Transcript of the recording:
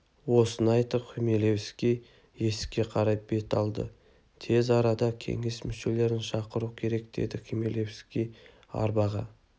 осыны айтып хмелевский есікке қарай бет алды тез арада кеңес мүшелерін шақыру керек деді хмелевский арбаға